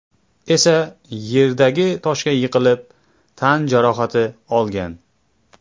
esa yerdagi toshga yiqilib tan jarohati olgan.